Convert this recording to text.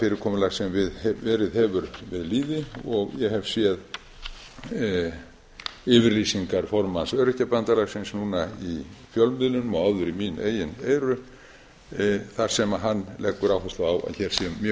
fyrirkomulag sem verið hefur við lýði og ég hef séð yfirlýsingar formanns öryrkjabandalagsins núna í fjölmiðlum og áður í mín eigin eyru þar sem hann leggur áherslu á að hér sé um mjög